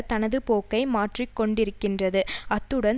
தனது போக்கை மாற்றிக்கொண்டிருக்கின்றது அத்துடன்